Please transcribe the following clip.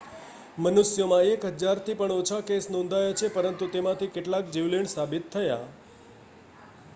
મનુષ્યોમાં એક હજારથી પણ ઓછા કેસ નોંધાયા છે પરંતુ તેમાંથી કેટલાક જીવલેણ સાબિત થયા